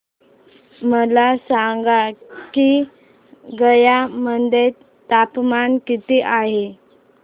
मला सांगा की गया मध्ये तापमान किती आहे